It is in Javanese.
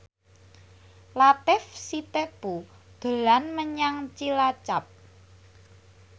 Latief Sitepu dolan menyang Cilacap